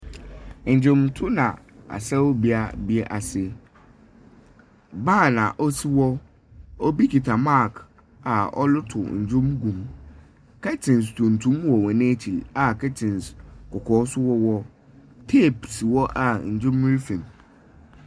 Dwonto na asaw bea bi ase. Ban a ɔsi hɔ. Obi kita mic a ɔreto ndwom gum. Curtains tuntum wɔ hɔn ekyir a curtains kɔkɔɔ nso wɔ hɔ. Tape si hɔ a ndwom refirim.